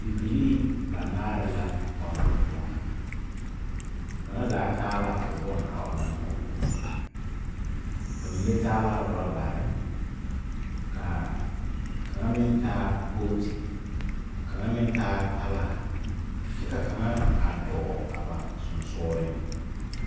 Bibilii banaare la a ɔnnɔ kõɔ. Kaŋa zaa taa la o bone a ɔnnɔ ne o kõɔ. Ba mine taa la orɔbare ka kaŋa meŋ taa booti, ka kaŋa meŋ taa talaa, kyɛ ka kaŋa a dɔɔ a ba sonsogreŋ.